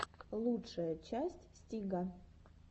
лучшая часть стига